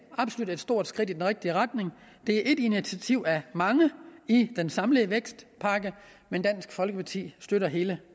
absolut stort skridt i den rigtige retning det er ét initiativ af mange i den samlede vækstpakke men dansk folkeparti støtter hele